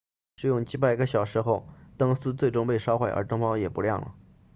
使用几百个小时后灯丝最终被烧坏而灯泡也不亮了